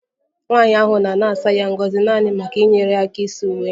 Nwanyị ahụ nọ na-asa ya ngọzi naanị maka inyere ya aka ịsa uwe